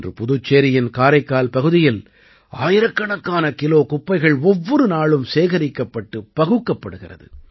இன்று புதுச்சேரியின் காரைக்கால் பகுதியில் ஆயிரக்கணக்கான கிலோ குப்பைகள் ஒவ்வொரு நாளும் சேகரிக்கப்பட்டு பகுக்கப்படுகிறது